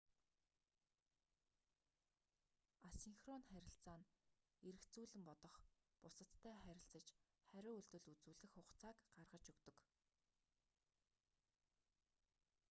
асинхрон харилцаа нь эргэцүүлэн бодох бусадтай харилцаж хариу үйлдэл үзүүлэх хугацааг гаргаж өгдөг